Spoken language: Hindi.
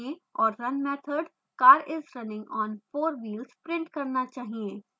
और run method car is running on 4 wheels print करना चाहिए